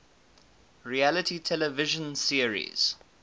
reality television series